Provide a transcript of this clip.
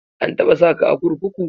An taɓa saka a kurkuku?